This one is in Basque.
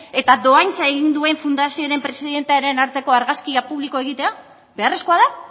eta dohaintza egin duen fundazioaren presidentearen arteko argazkia publikoa egitea beharrezkoa da